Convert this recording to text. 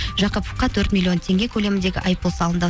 жақыповқа төрт миллион теңге көлеміндегі айыппұл салынды